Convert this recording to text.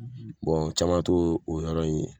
Bɔn caman to o yɔrɔ in ye